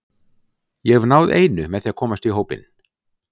Ég hef náð einu með því að komast í hópinn.